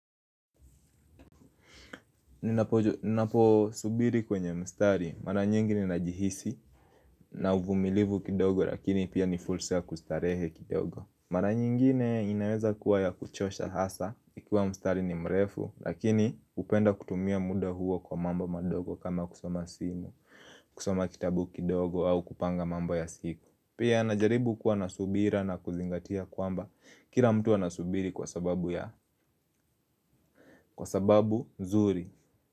Ninapo subiri kwenye mstari mara nyingine najihisi na uvumilivu kidogo lakini pia ni fursa ya kustarehe kidogo. Mara nyingine inaweza kuwa ya kuchosha hasa ikiwa mstari ni mrefu lakini hupenda kutumia muda huo kwa mambo madogo kama kusoma simu, kusoma kitabu kidogo au kupanga mambo ya siku. Pia najaribu kuwa na subira na kuzingatia kwamba kila mtu anasubiri kwa sababu ya kwa sababu nzuri.